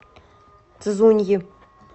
цзуньи